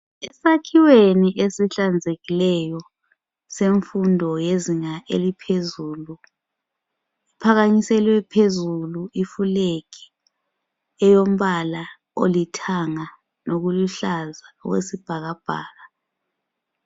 Esakhiweni esihlanzekileyo semfundo yezinga eliphezulu kuphakanyiselwe phezulu I flag elombala olithanga lokuluhlaza okwesibhakabhaka.